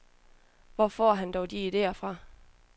Hvor får han dog de idéer fra?